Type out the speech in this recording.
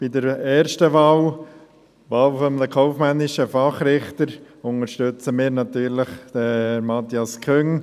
Bei der ersten Wahl, Wahl eines kaufmännischen Fachrichters, unterstützen wir natürlich Herrn Matthias Küng.